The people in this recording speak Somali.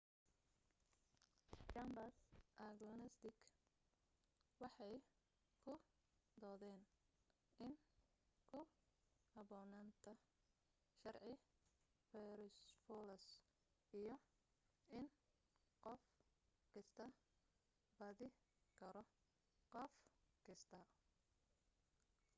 jambars agnostig waxay ku doodeen in ku haboonaanta sharci farayfoloos iyo in qof kastaa beedi karo qof kastaa